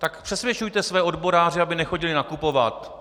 Tak přesvědčujte své odboráře, aby nechodili nakupovat!